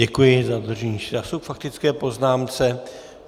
Děkuji za dodržení času k faktické poznámce.